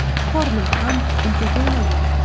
Qornim ham uncha to‘ymagan.